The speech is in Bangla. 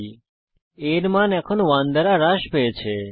a এর মান এখন 1 দ্বারা হ্রাস পেয়েছে